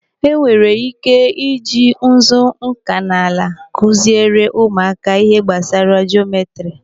E nwere ike i ji nzu nkanala kụziere ụmụaka ihe gbasara jometri.